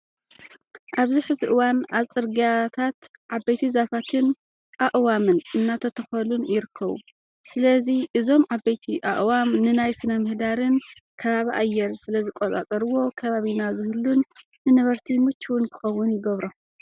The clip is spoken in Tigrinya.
ኣብዚ ሕዚ እዋን ኣብ ፅርግያታት ዓበይቲ ዛፋትን ኣዕዋምን እናተተኸሉን ይርከቡ። ስለዚ እዞም ዓበይቲ ኣዕዋም ንናይ ስነምህዳርን ከባቢ ኣየር ስለዝቆፃፀርዎ ከባቢና ዝህሉን ንነበርቲ ምችውን ክኸውን ይገብሮ።